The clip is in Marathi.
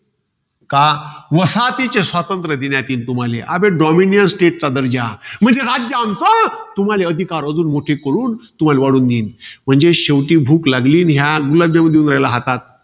का, वसाहतीचे स्वातंत्र्य देण्यात येईल तुम्हाले. अबे dominiance state चा दर्जा. म्हणजे, राज्य आमचं तुम्हाला अधिकार अजून मोठे करून, तुम्हाला वाढवून देईन. म्हणजे शेवटी भूक लागली नि हा गुलाबजाम देऊन राहिला हातात.